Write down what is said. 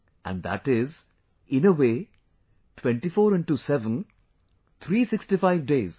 And that is, in a way, 24×7, Three Sixty Five Days